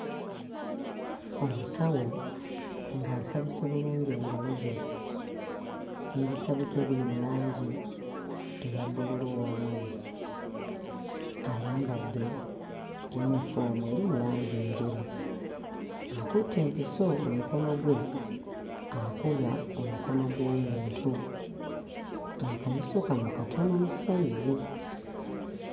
Omusawo ng'asabisse bulungi engalo ze n'ebisabika ebiri mu langi eya bbululu ow'amazzi ayambadde yinifoomu eri mu langi enjeru akutte empiso mu mukono gwe akuba omukono gw'omuntu akayiso kano katono mu ssayizi.